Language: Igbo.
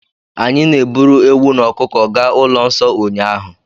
Anyị na-eburu ewu na ọkụkọ gaa ụlọ nsọ ụnyaahụ.